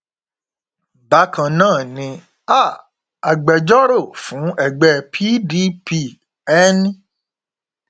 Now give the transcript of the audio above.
bákan náà ni um agbẹjọrò fún ẹgbẹ pdp n